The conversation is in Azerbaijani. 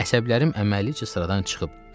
Əsəblərim əməlicə sıradan çıxıb,